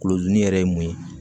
Kolodini yɛrɛ ye mun ye